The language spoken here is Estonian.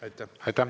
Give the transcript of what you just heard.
Aitäh!